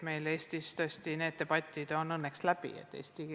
Meil Eestis on sellekohased debatid õnneks läbi.